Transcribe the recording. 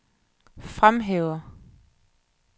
fremhæver